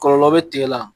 Kɔlɔlɔ bɛ tigɛ la